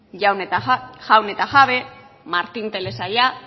jaun eta jabe martin telesaila